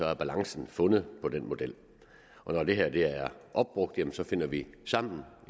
er balancen fundet for den model og når det her er opbrugt jamen så finder vi sammen